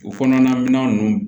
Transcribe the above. U kɔnɔna minɛn ninnu